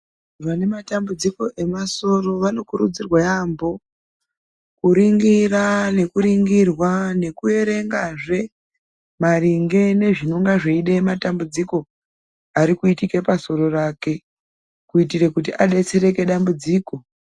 Vane matambudziko emasoro vanokurudzirwa yaambo. Kuringira nekuringirwa nekuerengazve maringe nozvinonga zveide matambudziko riri kuite pasoro rake. kuitire kuti abetsereke padambudziko.